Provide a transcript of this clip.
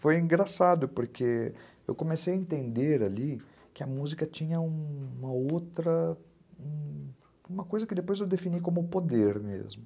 Foi engraçado, porque eu comecei a entender ali que a música tinha uma outra... uma coisa que depois eu defini como poder mesmo.